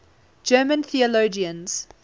german theologians